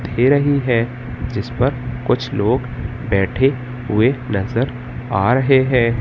दे रही है जिसपर कुछ लोग बैठे हुए नजर आ रहे है।